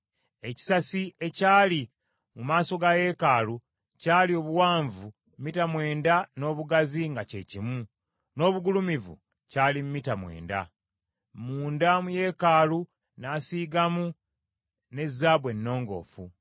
Ekisasi ekyali mu maaso ga yeekaalu kyali obuwanvu mita mwenda n’obugazi nga kye kimu, n’obugulumivu kyali mita mwenda. Munda mu yeekaalu n’asiigamu ne zaabu ennongoofu.